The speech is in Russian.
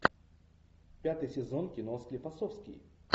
пятый сезон кино склифосовский